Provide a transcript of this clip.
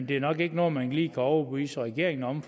det er nok ikke noget man lige kan overbevise regeringen om